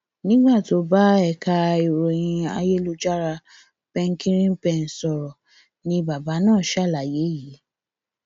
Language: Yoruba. nígbà tó ń bá ẹka ìròyìn ayélujára penkiripen sọrọ ni bàbá náà ṣàlàyé yìí